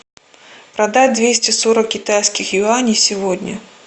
продать двести сорок китайских юаней сегодня